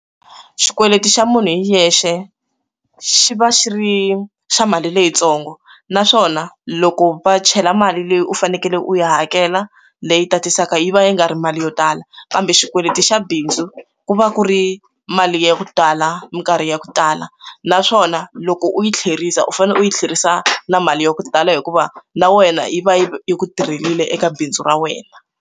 Xikweleti xa munhu hi yexe xi va xi ri xa mali leyitsongo naswona loko va chela mali leyi u fanekele u ya hakela leyi tatiseka yi va yi nga ri mali yo tala kambe xikweleti xa bindzu ku va ku ri mali ya ku tala minkarhi ya ku tala naswona loko u yi tlherisa u fanele u yi tlherisa na mali ya ku tala hikuva na wena yi va yi ya ku tirhelile eka bindzu ra wena.